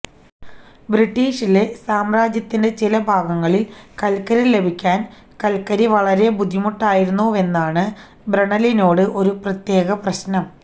ബ്രിട്ടീഷിലെ സാമ്രാജ്യത്തിന്റെ ചില ഭാഗങ്ങളിൽ കൽക്കരി ലഭിക്കാൻ കൽക്കരി വളരെ ബുദ്ധിമുട്ടിയിരുന്നുവെന്നാണ് ബ്രണലിനോട് ഒരു പ്രത്യേക പ്രശ്നം